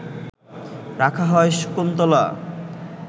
রাখা হয় শকুন্তলা